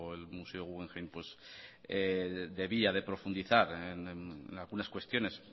el museo guggemhein debía de profundizar en algunas cuestiones